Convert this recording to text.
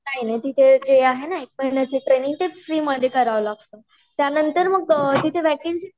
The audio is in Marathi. नाही नाही तिथे जे आहे न एक महिन्याची ट्रेनिंग ते फ्री मध्ये कराव लागत त्यानंतर मग तिथे वेकेंसी